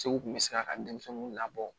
Segu tun bɛ se ka ka denmisɛnninw labɔ